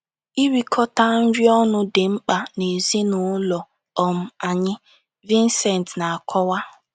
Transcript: Irikọta nri ọnụ dị mkpa n'ezinụlọ um anyị, Visent na-akọwa